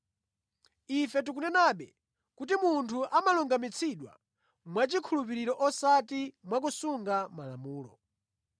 Ife tikunenabe kuti munthu amalungamitsidwa mwachikhulupiriro osati mwakusunga Malamulo.